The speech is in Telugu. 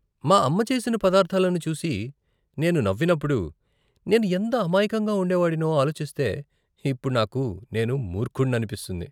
మా అమ్మ చేసిన పదార్ధాలను చూసి నేను నవ్వినప్పుడు నేను ఎంత అమాయకంగా ఉండేవాడినో ఆలోచిస్తే ఇప్పుడు నాకు నేను మూర్ఖుడిననిపిస్తుంది.